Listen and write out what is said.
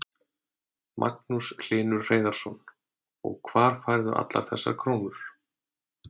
Magnús Hlynur Hreiðarsson: Og hvar færðu allar þessar krónur?